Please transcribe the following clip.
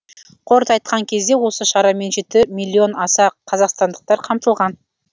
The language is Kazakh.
қорыта айтқан кезде осы шарамен жеті миллион аса қазақстандықтар қамтылған